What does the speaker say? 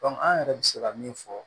an yɛrɛ bɛ se ka min fɔ